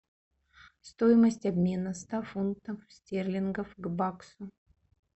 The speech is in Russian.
стоимость обмена ста фунтов стерлингов к баксу